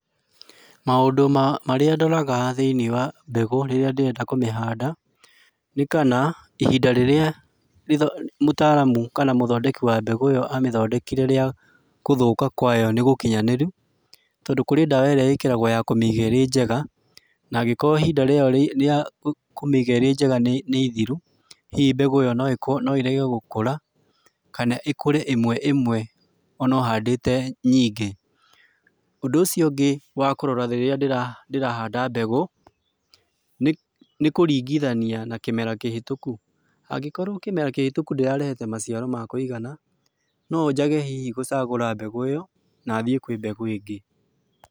Maũndũ marĩa ndoraga thĩinĩ wa mbegũ rĩrĩa ndĩrenda kũmĩhanda nĩ kana, ihinda rĩrĩa kana mũtaaramu kana mũthondeki wa mbegũ ĩyo athondekire gũthũka kwayo nĩgũkinyanĩru tondũ kũrĩ dawa ĩrĩa ĩigagwo kũmĩiga ĩrĩ njega, nagĩkorwo ihinda rĩa kũmĩiga ĩrĩ njega nĩ ithiru hihi mbegũ ĩyo no ĩrege gũkũra, kana ĩkũre ĩmwe ĩmwe ona ũhandĩte nyingĩ. Ũndũ ũcio ũngĩ wa kũrora rĩrĩa ndĩrahanda mbegũ nĩ kũringithania na kĩmera kĩhĩtũku ha ngĩkoragwo kĩmera kĩhĩtũku gĩtirarehete maciaro ma kũigana no njage hihi gũcagũra mbegũ ĩyo na thiĩ kwĩ mbegũ ĩngĩ.